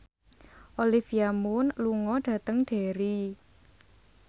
Olivia Munn lunga dhateng Derry